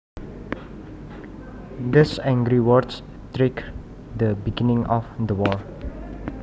Those angry words triggered the beginning of the war